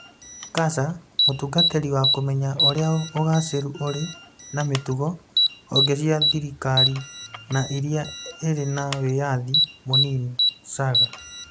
(QASA) Mũtungatĩri wa Kũmenya Ũrĩa Ũgaacĩru Ũrĩ na Mĩtugo, Honge cia thirikari na iria ĩrĩ na wĩyathi mũnini (SAGA)